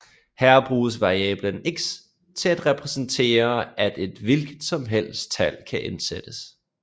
Her bruges variablen x til at repræsentere at et hvilket som helst tal kan indsættes